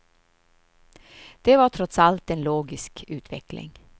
Det var trots allt en logisk utveckling.